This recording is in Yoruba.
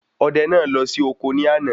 Odẹ náà lọ sí ọkọ ní àná